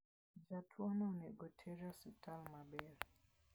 Jatuono onego oter e osiptal maber.